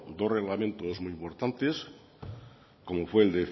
dos reglamentos muy importantes como fue el